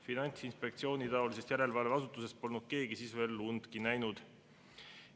Finantsinspektsioonitaolisest järelevalveasutusest polnud keegi siis veel undki näinud.